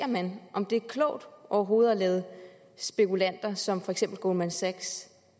man om det er klogt overhovedet at lade spekulanter som for eksempel goldman sachs